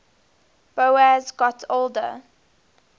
boas got older